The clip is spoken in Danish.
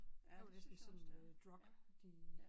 Det er jo næsten sådan et øh drug de